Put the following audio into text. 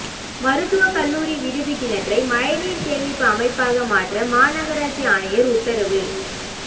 மருத்துவக் கல்லூரி விடுதி கிணற்றை மழைநீா் சேமிப்புஅமைப்பாக மாற்ற மாநகராட்சி ஆணையா் உத்தரவு